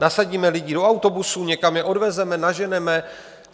Nasadíme lidi do autobusů, někam je odvezeme, naženeme?